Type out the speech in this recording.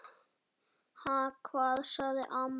Ha, hvað? sagði amma.